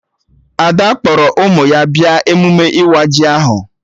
Ada kpọrọ ụmụ ya bịa emume ịwa ji ahụ